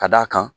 Ka d'a kan